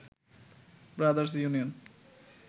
brothers union